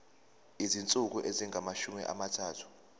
izinsuku ezingamashumi amathathu